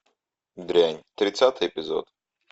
дрянь тридцатый эпизод